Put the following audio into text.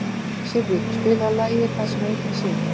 Sirrí, spilaðu lagið „Það sem enginn sér“.